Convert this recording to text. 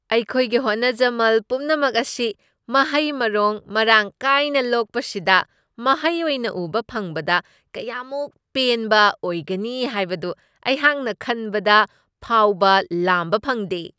ꯑꯩꯈꯣꯏꯒꯤ ꯍꯣꯠꯅꯖꯃꯜ ꯄꯨꯝꯅꯃꯛ ꯑꯁꯤ ꯃꯍꯩ ꯃꯔꯣꯡ ꯃꯔꯥꯡ ꯀꯥꯏꯅ ꯂꯣꯛꯄꯁꯤꯗ ꯃꯍꯩ ꯑꯣꯏꯅ ꯎꯕ ꯐꯪꯕꯗ ꯀꯌꯥꯃꯨꯛ ꯄꯦꯟꯕ ꯑꯣꯏꯒꯅꯤ ꯍꯥꯏꯕꯗꯨ ꯑꯩꯍꯥꯛꯅ ꯈꯟꯕꯗ ꯐꯥꯎꯕ ꯂꯥꯝꯕ ꯐꯪꯗꯦ꯫